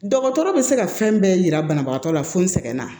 Dɔgɔtɔrɔ bɛ se ka fɛn bɛɛ yira banabagatɔ la fo n sɛgɛnna